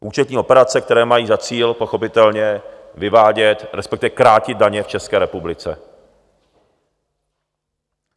Účetní operace, které mají za cíl pochopitelně vyvádět, respektive krátit daně v České republice.